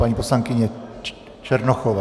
Paní poslankyně Černochová.